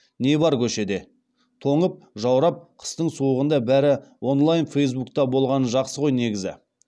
не бар көшеде тоңып жаурап қыстың суығында бәрі онлайн фейсбукта болғаны жақсы ғой негізі